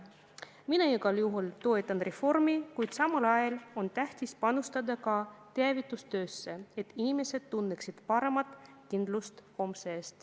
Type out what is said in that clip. Mina igal juhul toetan reformi, kuid samal ajal arvan, et on tähtis panustada teavitustöösse, et inimesed tunneksid suuremat kindlust homse ees.